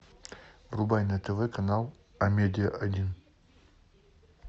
врубай на тв канал амедиа один